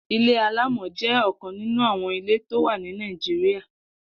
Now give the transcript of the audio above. Ilé àlámọ̀ jẹ ọkán ninú awọn ilé tó wà ni Nàijiriá